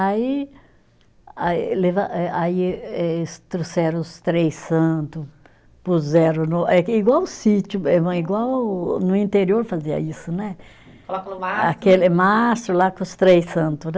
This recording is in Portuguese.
Aí aí leva, eh aí eh aí eles trouxeram os três santo, puseram no eh, igual o sítio mesmo, igual no interior fazia isso né. Coloca no mastro. Aquele mastro lá com os três santos, né.